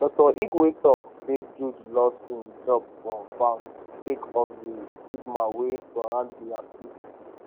dr igwe tok say jude lost im job for bank sake of di stigma wey surround di accuse